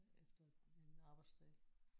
Efter en arbejdsdag